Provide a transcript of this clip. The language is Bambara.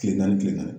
Kile naani kile na